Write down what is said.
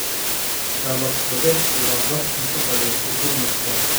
Scallops badeedku waa dookh cunto badeed oo gourmet ah.